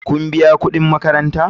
Kun biya kudin makaranta?